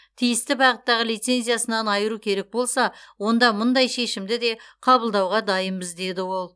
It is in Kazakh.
тиісті бағыттағы лицензиясынан айыру керек болса онда мұндай шешімді де қабылдауға дайынбыз деді ол